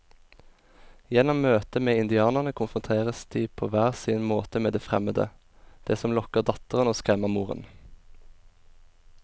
Gjennom møtet med indianerne konfronteres de på hver sin måte med det fremmede, det som lokker datteren og skremmer moren.